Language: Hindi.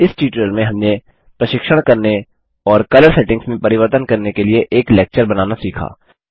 इस ट्यूटोरियल में हमने प्रशिक्षण करने और कलर सेटिंग्स में परिवर्तन करने के लिए एक लेक्चर बनाना सीखा